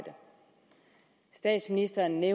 statsministeren